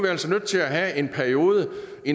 altså nødt til have en periode